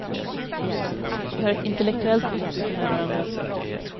Vi har ett intellektuellt utbyte med varandra.